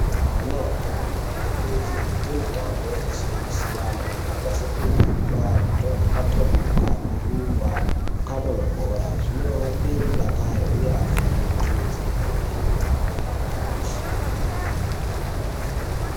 Ana adoodori anokurudzirwe kuite mitambo yakasiyana-siyana yakaita sekuimba, kutomhoka tomhoka, kurumba, kukaba mabhora, zvinovape mudakaro uye vafunde nzxondo dziri pamweni.